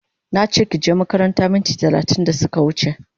Nache kije makaranta minti talatin da suka wuche